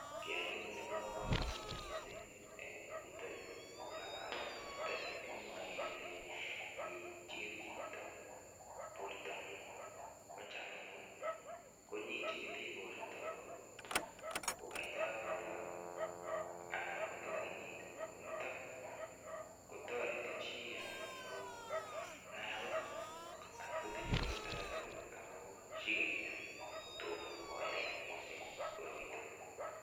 Kiy anyun nebo kamanut mising eng yuto yu kongalalet nito ni kimwae kele nyichigil chito bortongung. Kocham anyun konyichigili borto kogait arawek lo anan ko kila kenyit. Ko nito kotareti chi anyun konai agotatkotinye korot agetugul sigenya.